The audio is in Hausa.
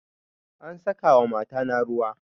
An saka wa mata na ruwa